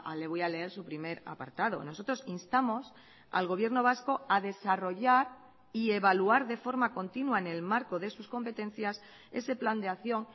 le voy a leer su primer apartado nosotros instamos al gobierno vasco a desarrollar y evaluar de forma continua en el marco de sus competencias ese plan de acción